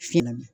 Finna